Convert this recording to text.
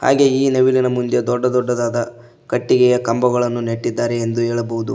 ಹಾಗೆ ಈ ನವಿಲಿನ ಮುಂದೆ ದೊಡ್ಡದೊಡ್ಡದಾದ ಕಟ್ಟಿಗೆಯ ಕಂಬಗಳನ್ನು ನೆಟ್ಟಿದ್ದಾರೆ ಎಂದು ಹೇಳಬಹುದು.